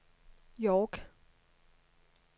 York